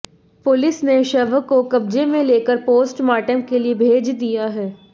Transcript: police ने शव को क़ब्ज़े में लेकर पोस्टमार्टम के लिए भेज दिया है